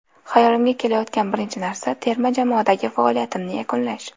Xayolimga kelayotgan birinchi narsa – terma jamoadagi faoliyatimni yakunlash.